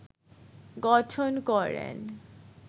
গঠন করেন